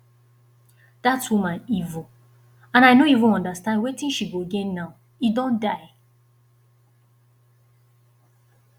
dat woman evil and i no even understand wetin she go gain now he don die